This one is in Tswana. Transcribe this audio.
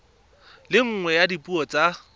le nngwe ya dipuo tsa